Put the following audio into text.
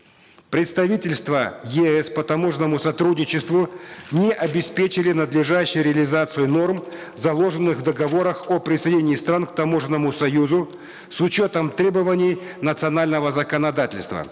представительства еэс по таможенному сотрудничеству не обеспечили надлежащую реализацию норм заложенных в договорах о присоединении стран к таможенному союзу с учетом требований национального законодательства